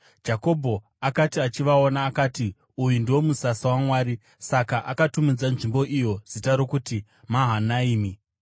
Jakobho akati achivaona, akati, “Uyu ndiwo musasa waMwari!” Saka akatumidza nzvimbo iyo zita rokuti Mahanaimi.